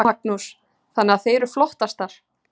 Magnús: Þannig að þið eruð flottastar?